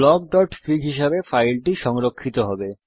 blockফিগ হিসাবে ফাইলটি সংরক্ষিত হবে